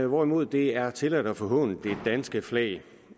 hvorimod det er tilladt at forhåne det danske flag